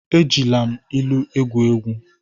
Ejila m ilu egwu egwu.